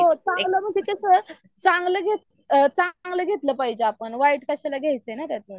हो चांगलं म्हणजे कसं चांगलं चांगलं घेतलं पाहिजे आपण वाईट कशाला घ्यायचं ना त्यातलं?